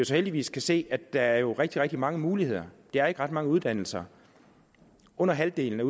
så heldigvis kan se at der er rigtig rigtig mange muligheder der er ikke ret mange uddannelser under halvdelen af